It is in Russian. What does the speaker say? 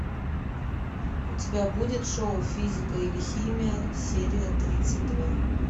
у тебя будет шоу физика или химия серия тридцать два